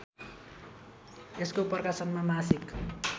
यसको प्रकाशनमा मासिक